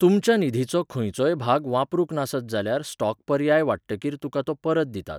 तुमच्या निधीचो खंयचोय भाग वापरूंक नासत जाल्यार स्टॉक पर्याय वांट्टकीर तुका तो परत दितात.